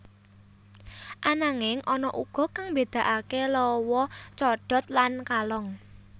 Ananging ana uga kang mbedakaké lawa codot lan kalong